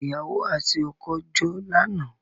Ìyàwò àti ọkọ́ jó lánàá.